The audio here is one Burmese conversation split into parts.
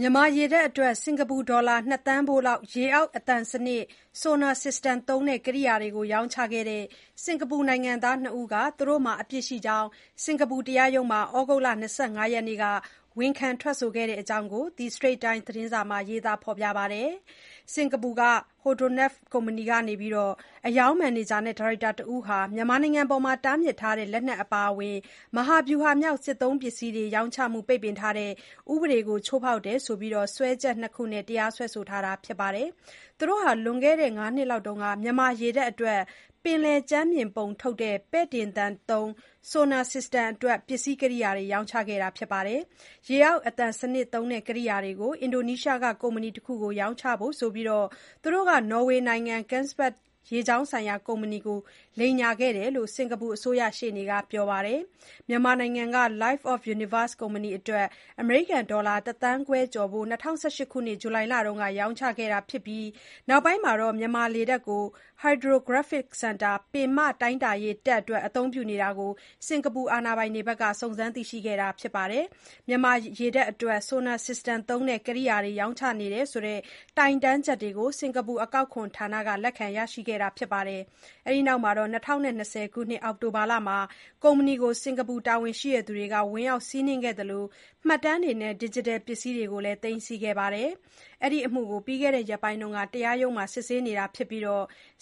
မြန်မာရေတပ်အတွက် စင်္ကာပူ ဒေါ်လာ ၂ သန်းဖိုးလောက် ရေအောက် အသံစနစ် Sonar System သုံး ကရိယာတွေ ရောင်းချခဲ့တဲ့ စင်္ကာပူနိုင်ငံသား ၂ ဦး က သူတို့မှာ အပြစ်ရှိကြောင်း စင်္ကာပူတရားရုံးမှာ ဩဂုတ်လ ၂၅ ရက်နေ့က ဝန်ခံထွက်ဆိုတာကို The Strait Times သတင်းစာမှာ ရေးသားထားပါတယ်။ စင်္ကာပူ Hydronav ကုမ္ပဏီက အရောင်းမန်နေဂျာနဲ့ ဒါရိုက်တာ တဦးဟာ မြန်မာနိုင်ငံအပေါ် တားမြစ်ထားတဲ့ လက်နက်အပါအဝင် မဟာဗျုဟာမြောက် စစ်သုံးပစ္စည်း ရောင်းချမှု ပိတ်ပင်ထားတဲ့ ဥပဒေကို ချိုးဖေါက်တယ်ဆိုပြီး စွဲချက် ၂ ခုနဲ့ တရားစွဲဆိုထားတာပါ။ သူတို့ဟာ လွန်ခဲ့တဲ့ ၅ နှစ်လောက်က မြန်မာရေတပ်အတွက် ပင်လယ်ကြမ်းပြင် ပုံထုတ်တဲ့ ပဲတင့်သံသုံး Sonar System အတွက် ပစ္စည်းကရိယာတွေ ရောင်းချခဲ့တာပါ။ ရေအောက် အသံစနစ်သုံး ကိရိယာတွေကို အင်ဒိုနီးရှားက ကုမ္ပဏီတခုကို ရောင်းချဖို့ဆိုပြီး သူတို့က နော်ဝေနိုင်ငံ Kongsberg ရေကြောင်းဆိုင်ရာ ကုမ္ပဏီကို လိမ်ညာခဲ့တယ်လို့စင်္ကာပူ အစိုးရ ရှေ့နေက ပြောပါတယ်။ မြန်မာနိုင်ငံက Light of Universe ကုမ္ပဏီအတွက် အမေရိကန်ဒေါ်လာ တသန်းခွဲကျော်ဖိုး ၂၀၁၈ ခုနှစ် ဇူလိုင်လက ရောင်းချခဲ့တာဖြစ်ပြီး နောက်ပိုင်းမှာ မြန်မာရေတပ် Hydrographic Centre ပင်မ တိုင်းတာရေးတပ် အတွက် အသုံးပြုနေတာကို စင်္ကာပူအာဏာပိုင်တွေ စုံစမ်းသိရှိခဲ့ပါတယ်။ မြန်မာရေတပ်အတွက် Sonar System သုံး ကိရိယာတွေ ရောင်းချနေတယ်ဆိုတဲ့ တိုင်တန်းချက်တွေ စင်္ကာပူ အကောက်ခွန်ဌာနက လက်ခံရရှိခဲ့ပြီး ၂၀၂၀ ခုနှစ် အောက်တိုဘာလမှာ ကုမ္ပဏီကို စင်္ကာပူ တာဝန်ရှိသူတွေ ဝင်ရောက်စီးနင်းခဲ့သလို မှတ်တမ်းတွေနဲ့ ဒီဂျစ်တယ်ပစ္စည်းတွေကို သိမ်းဆည်းခဲ့ပါတယ်။ ဒီအမှုကို ပြီးခဲ့တဲ့ ရက်ပိုင်းက တရားရုံးမှာ စစ်ဆေးတာဖြစ်ပြီး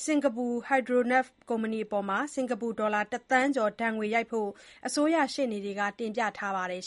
စင်္ကာပူ Hydronav ကုမ္ပဏီအပေါ် စင်္ကာပူ ဒေါ်လာ တသန်းကျော် ဒဏ်ငွေရိုက်ဖို့ အစိုးရရှေ့နေတွေက တင်ပြထားပါတယ်